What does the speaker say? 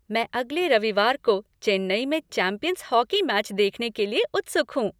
मैं अगले रविवार को चेन्नई में चैंपियंस हॉकी मैच देखने के लिए उत्सुक हूँ।